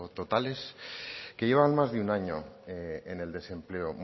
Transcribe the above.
totales que llevan más de un año en el desempleo